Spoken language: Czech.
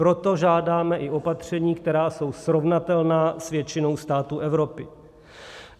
Proto žádáme i opatření, která jsou srovnatelná s většinou států Evropy.